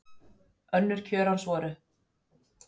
Önnur kjörorð hans voru Hvað veit ég?